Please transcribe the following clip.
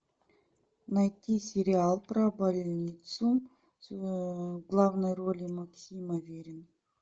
найти сериал про больницу в главной роли максим аверин